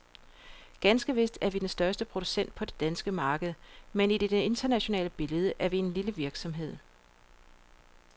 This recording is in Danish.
Ganske vist er vi den største producent på det danske marked, men i det internationale billede er vi en lille virksomhed.